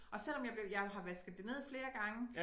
Og selvom jeg blev jeg har vasket det ned flere gange